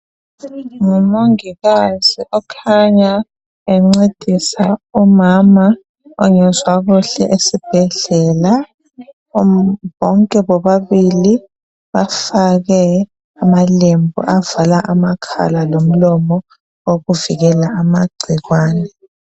ngomngikazi okhanya encedisa umama ongezwa kuhle esibhedlela bonke bobabili bafake amalembu avala amakhala lomlomo okuvikela amagcikwane